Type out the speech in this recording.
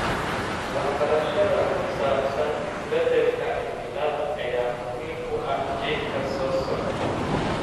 Waxbarashada ku saabsan isbeddelka cimilada ayaa muhiim u ah jiilka soo socda.